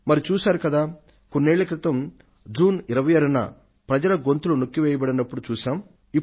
మరి చూశారు కదా కొన్నేళ్ల క్రితం జూన్ 26 న ప్రజల గొంతులు నొక్కి వేయబడినప్పుడు చూశాం